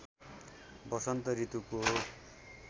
वसन्त ऋतुको